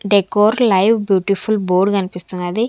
Decor live beautiful board కనిపిస్తున్నది.